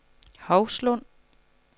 Hovslund